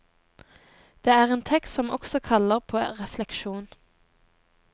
Det er en tekst som også kaller på refleksjon.